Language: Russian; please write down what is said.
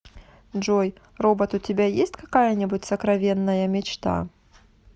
джой робот у тебя есть какая нибудь сокровенная мечта